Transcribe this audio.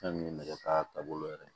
Fɛn min ye nɛgɛ ka taabolo yɛrɛ